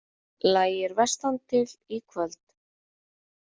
Lægir vestantil Í kvöld